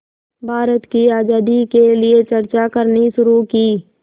भारत की आज़ादी के लिए चर्चा करनी शुरू की